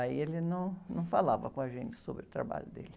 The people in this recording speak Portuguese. Aí ele num, não falava com a gente sobre o trabalho dele.